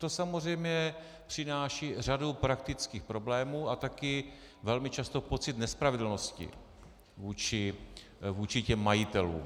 To samozřejmě přináší řadu praktických problémů a taky velmi často pocit nespravedlnosti vůči těm majitelům.